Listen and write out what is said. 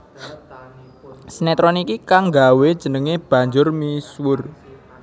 Sinetron iki kang nggawé jenengé banjur misuwur